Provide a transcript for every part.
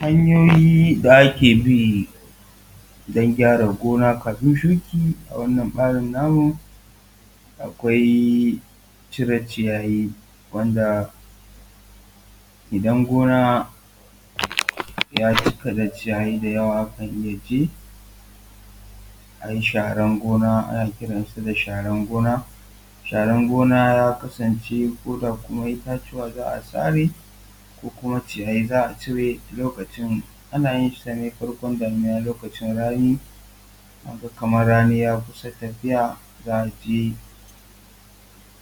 Hanyoyi da ake bi don gyara gona kafin shuki a wanan ɓarin namu akwai cire ciyayi wanda idan gona ya cika da ciyayi dayawa akan iya je a yi sharanan gona, ana kiransa da sharanan gona. Sharan gona ya kasance koda kuma itatuwa za a sare ko kuma ciyayi za a cire lokacin, ana yin sa ne farkon damuna, lokacin rani an ga kamar rani ya kusa tafiya, za a je,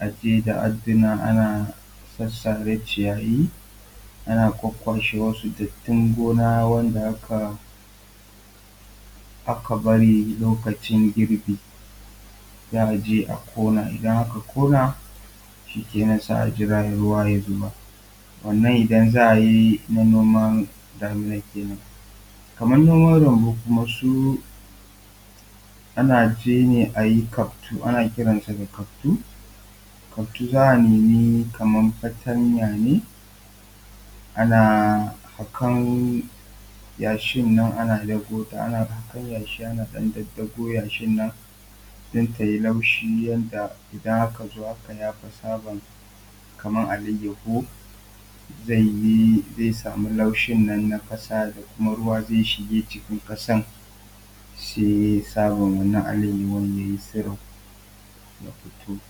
a je da adduna ana sassare ciyayi ana kwakkwashe wasu datin gona wanda aka aka bari lokacin girbi. Za a je a ƙona, idan aka ƙona shikenan sai a jira ruwa ya zuba wannan idan za a yi na noma damuna kenan. Kamar noman lambu kuma su ana je ne a yi kaftu ana kiransa da kaftu, kaftu za a nemi fatanya ne ana haƙan yashin na ana ɗagota, ana haƙan yashi ana ɗaɗɗago yashin nan don ta yi laushi yanda idan aka zo aka yafa tsaban kamar alayahu zaiyi zai samu laushin nan na ƙasa da kuma ruwa zai shiga jikin ƙasan sai tsaban wannan alayahu ya yi tsiro ya fito.